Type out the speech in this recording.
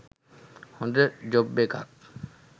හොඳ ජොබ් එකක්.